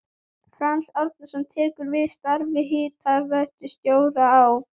Franz Árnason tekur við starfi hitaveitustjóra á